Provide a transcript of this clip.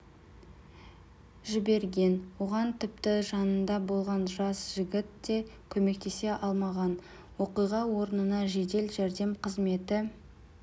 жіберген оған тіпті жанында болған жас жігіт те көмектесе алмаған оқиға орнына жедел жәрдем қызметі